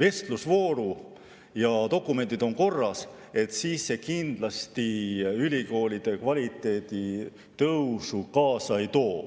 vestlusvooru ja kelle dokumendid on korras, siis see kindlasti ülikoolide kvaliteedi tõusu kaasa ei too.